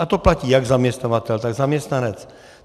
A to platí jak zaměstnavatel, tak zaměstnanec.